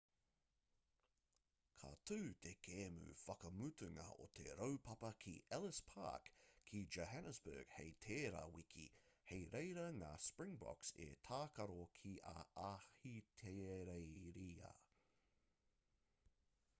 ka tū te kēmu whakamutunga o te raupapa ki ellis park ki johannesburg hei tērā wiki hei reira ngā springboks e tākaro ki a ahitereiria